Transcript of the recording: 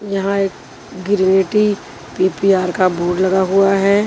यहां एक गिरवेटी पीपीआर का बोर्ड लगा हुआ है।